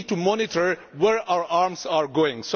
We need to monitor where our arms are going.